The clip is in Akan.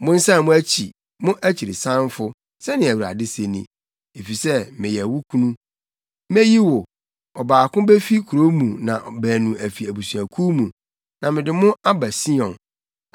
“Monsan mo akyi, mo akyirisanfo,” sɛnea Awurade se ni, “efisɛ meyɛ mo kunu. Meyi wo; ɔbaako befi kurow mu na baanu afi abusuakuw mu, na mede mo aba Sion.